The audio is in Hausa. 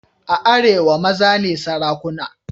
A arewa maza ne sarakuna.